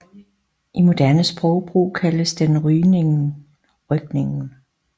I moderne sprogbrug kaldes den rygningen